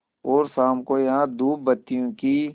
और शाम को यहाँ धूपबत्तियों की